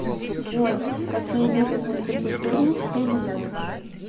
джой какие виды мультикультурность ты знаешь